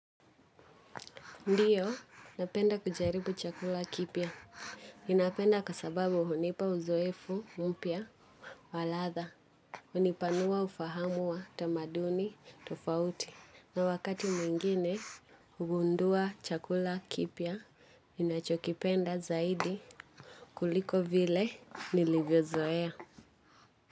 Ndiyo, napenda kujaribu chakula kipya. Ninapenda kwa sababu hunipa uzoefu, mpya, wa ladha. Hunipanua ufahamu wa tamaduni, tofauti. Na wakati mwingine, hugundua chakula kipya, ninachokipenda zaidi kuliko vile nilivyozoea.